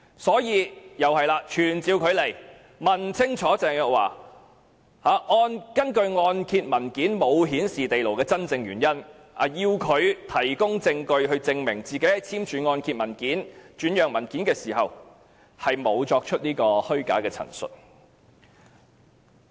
因此，我們必須傳召她來立法會，問清楚她按揭文件沒有顯示該物業有地庫的真正原因，並要求她提供證據，證明她在簽署按揭文件和轉讓文件時沒有作出虛假陳述。